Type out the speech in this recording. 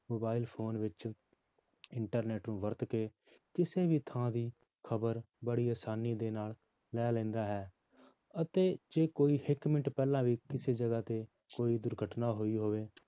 Mobile phone ਵਿੱਚ internet ਨੂੰ ਵਰਤ ਕੇ ਕਿਸੇ ਵੀ ਥਾਂ ਦੀ ਖ਼ਬਰ ਬੜੀ ਆਸਾਨੀ ਦੇ ਨਾਲ ਲੈ ਲੈਂਦਾ ਹੈ ਅਤੇ ਜੇ ਕੋਈ ਇੱਕ ਮਿੰਟ ਪਹਿਲਾਂ ਵੀ ਕਿਸੇ ਜਗ੍ਹਾ ਤੇ ਕੋਈ ਦੁਰਘਟਨਾ ਹੋਈ ਹੋਵੇ